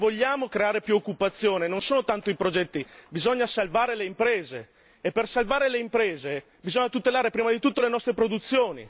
perché se vogliamo creare più occupazione non contano tanto i progetti, bisogna salvare le imprese e per salvare le imprese bisogna tutelare prima di tutto le nostre produzioni!